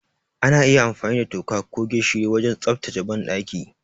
Ana iya amfani da toka ko gishiri wajen tsaftace banɗaki.